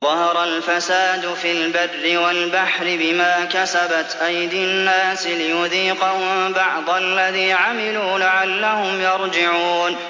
ظَهَرَ الْفَسَادُ فِي الْبَرِّ وَالْبَحْرِ بِمَا كَسَبَتْ أَيْدِي النَّاسِ لِيُذِيقَهُم بَعْضَ الَّذِي عَمِلُوا لَعَلَّهُمْ يَرْجِعُونَ